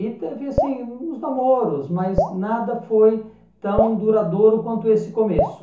E teve assim uns namoros, mas nada foi tão duradouro quanto esse começo.